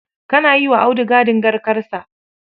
Kana yi wa Audu gadin garkarsa.